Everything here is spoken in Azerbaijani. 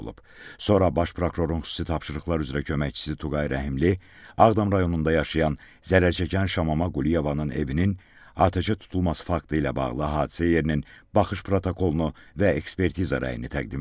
Sonra Baş Prokurorun Xüsusi Tapşırıqlar üzrə Köməkçisi Tuqay Rəhimli Ağdam rayonunda yaşayan zərər çəkən Şamama Quliyevanın evinin atəşə tutulması faktı ilə bağlı hadisə yerinin baxış protokolunu və ekspertiza rəyini təqdim etdi.